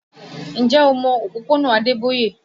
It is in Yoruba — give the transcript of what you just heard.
Ǹjẹ́ o mọ òpópónà Adeboye?